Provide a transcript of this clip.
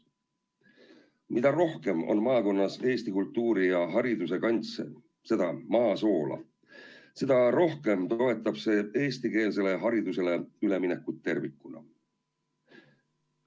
Mida rohkem on maakonnas eesti kultuuri ja hariduse kantse, seda maa soola, seda rohkem toetab see eestikeelsele haridusele üleminekut tervikuna.